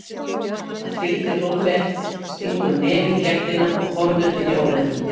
Hann fylgir Hrólfi eftir, stingur nefi í gættina og horfir inn í óreiðuna.